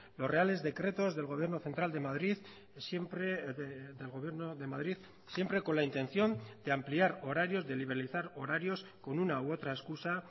los reales decretos del gobierno central de madrid siempre del gobierno de madrid siempre con la intención de ampliar horarios de liberalizar horarios con una u otra excusa